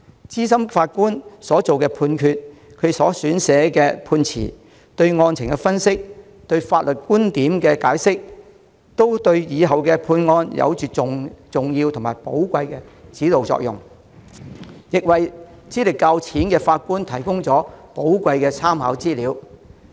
資深法官作出的判決、撰寫的判詞、對案情的分析、對法律觀點的解釋，對日後案件的判決有着重要和寶貴的指導作用，亦為資歷較淺的法官提供寶貴的參考資料。